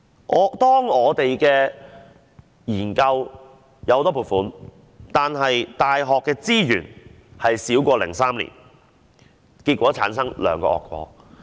儘管我們的研究獲得很多撥款，但大學的資源卻少過2003年，結果造成兩個惡果。